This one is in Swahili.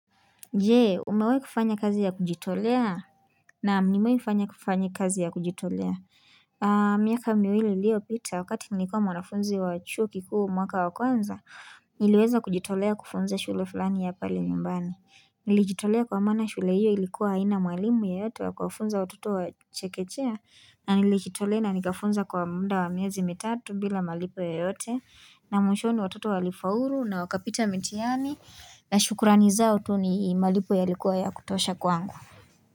Je umewahi kufanya kazi ya kujitolea? Naam nimewahi fanya kufanya kazi ya kujitolea miaka miwili iliyopita wakati nilikua mwanafunzi wa chuo kikuu mwaka wa kwanza niliweza kujitolea kufunza shule fulani ya pale nyumbani. Nilijitolea kwa maana shule hiyo ilikuwa haina mwalimu yeyote wa kuwafunza watoto wa chekechea na nilijitolea na nikafunza kwa muda wa miezi mitatu bila malipo yoyote na mwishoni watoto walifaulu na wakapita mitiani na shukrani zao tu ni malipo yalikuwa ya kutosha kwangu.